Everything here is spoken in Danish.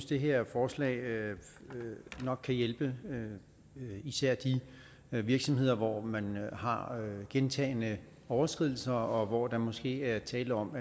det her forslag nok kan hjælpe især de virksomheder hvor man har gentagne overskridelser og hvor der måske er tale om